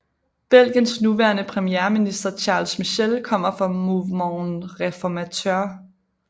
Belgiens nuværende premierminister Charles Michel kommer fra Mouvement Réformateur